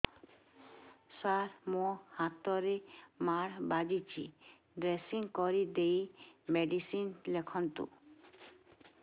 ସାର ମୋ ହାତରେ ମାଡ଼ ବାଜିଛି ଡ୍ରେସିଂ କରିଦେଇ ମେଡିସିନ ଲେଖନ୍ତୁ